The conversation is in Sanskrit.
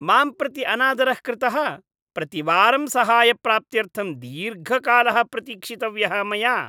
मां प्रति अनादरः कृतः, प्रतिवारं सहायप्राप्त्यर्थं दीर्घकालः प्रतीक्षितव्यः मया।